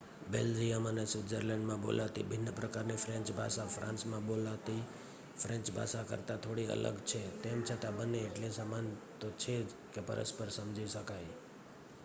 Belgium અને સ્વીત્ઝર્લેન્ડમાં બોલાતી ભિન્ન પ્રકારની ફ્રેંચ ભાષા ફ્રાંસમાં બોલતી ફ્રેંચ ભાષા કરતાં થોડી અલગ છે તેમ છતાં બંને એટલી સમાન તો છે જ કે પરસ્પર સમજી શકાય